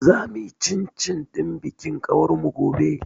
Za mu yi cin cin ɗin bikin ƙawar mu gobe.